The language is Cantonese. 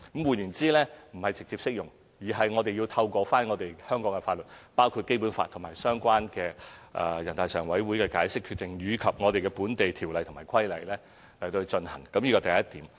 換言之，不是直接適用，我們須透過香港的法律，包括《基本法》和相關全國人大常委會的解釋和決定，以及本地條例和規例去落實，這是第一點。